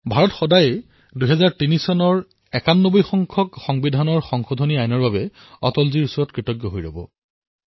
ভাৰত সদায়েই ৯১তম সংশোধন অধিনিয়ম ২০০৩ ৰ বাবে অটলজীৰ প্ৰতি কৃতজ্ঞ হৈ ৰব